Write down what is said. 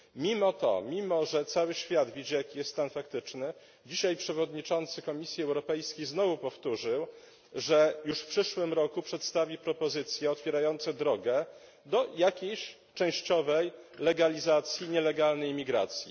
Mimo to, mimo że cały świat widzi, jaki jest stan faktyczny, dzisiaj przewodniczący Komisji Europejskiej znowu powtórzył, że już w przyszłym roku przedstawi propozycje otwierające drogę do jakiejś częściowej legalizacji nielegalnej imigracji.